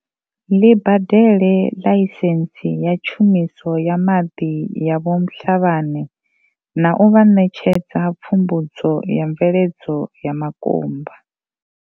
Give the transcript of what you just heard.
ḽi badele ḽaisentsi ya tshumiso ya maḓi ya vho Mhlabane na u vha ṋetshedza pfumbudzo ya mveledzo ya makumba.